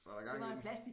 Var der gang i den